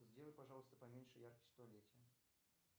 сделай пожалуйста поменьше яркость в туалете